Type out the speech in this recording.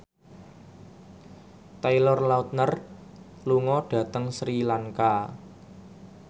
Taylor Lautner lunga dhateng Sri Lanka